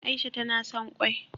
Aisha tana son